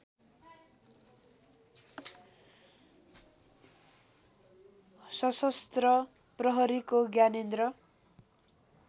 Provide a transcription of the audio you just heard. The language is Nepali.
सशस्त्र प्रहरीको ज्ञानेन्द्र